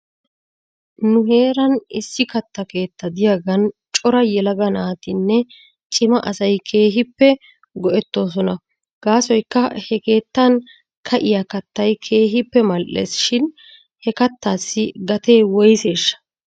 Nu heeran issi katta keetta diyaagan cora yelaga naatinne cima asay keehippe go'etoosona. Gaasoykka he keettan ka'iyaa kattay keehippe mal'es shin he kattaassi gatee woyseeshsha?